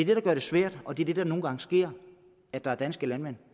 der gør det svært og det er der det nogle gange sker at der er danske landmænd